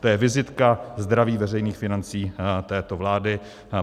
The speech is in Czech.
To je vizitka zdravých veřejných financí této vlády.